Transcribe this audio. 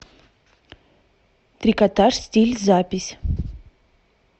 трикотаж стиль запись